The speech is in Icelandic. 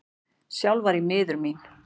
Sjálf var ég miður mín.